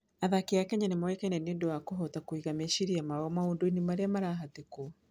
Athaki a Kenya nĩ moĩkaine nĩ ũndũ wa kũhota kũiga meciria mao maũndũ-inĩ marĩa marahatĩkwo.